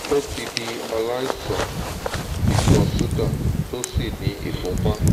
ó ti di aláìsàn ìtọ̀ ṣúgà tó sì ní ìfúnpá